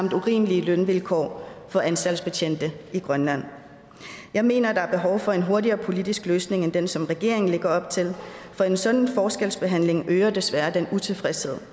urimelige lønvilkår for anstaltsbetjente i grønland jeg mener at der er behov for en hurtigere politisk løsning end den som regeringen lægger op til for en sådan forskelsbehandling øger desværre den utilfredshed